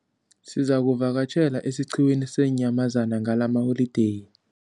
Sizakuvakatjhela esiqhiwini seenyamazana ngalamaholideyi.